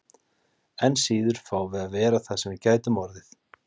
Enn síður fáum við að vera það sem við gætum orðið.